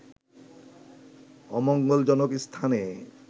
অমঙ্গলজনক স্থানে